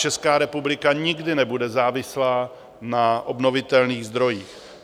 Česká republika nikdy nebude závislá na obnovitelných zdrojích.